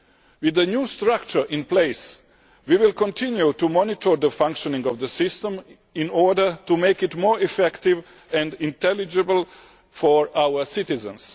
With the new structure in place, we will continue to monitor the functioning of the system in order to make it more effective and intelligible for our citizens.